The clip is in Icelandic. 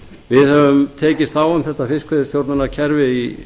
við höfum tekist á um þetta fiskveiðistjórnarkerfi í